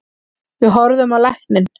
Við horfðum á lækninn.